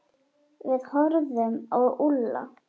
Við horfðum á Úlla.